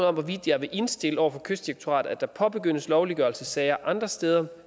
om hvorvidt jeg vil indstille over for kystdirektoratet at der påbegyndes lovliggørelsessager andre steder